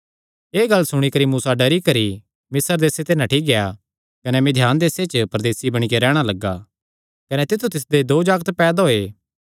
एह़ गल्ल सुणी करी मूसा डरी करी मिस्र देसे ते नठ्ठी गेआ कने मिघान देसे च परदेसी बणी करी रैहणा लग्गा कने तित्थु तिसदे दो जागत पैदा होये